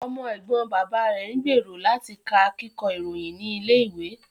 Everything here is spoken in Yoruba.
Ọmọ ẹ̀gbọ́n bàbá ẹ̀ ń gbèrò láti ka Kíkọ́ ìròyìn ní ilé ìwé